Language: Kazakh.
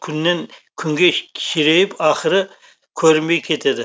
күннен күнге кішірейіп ақыры көрінбей кетеді